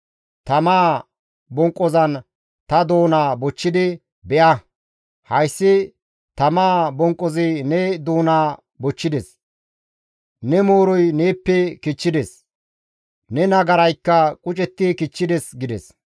Tamaa bonqqozan ta doonaa bochchidi, «Be7a; hayssi tamaa bonqqozi ne doonaa bochchides; ne mooroy neeppe kichchides; ne nagaraykka qucetti kichchides» gides.